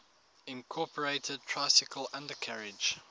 incorporated tricycle undercarriage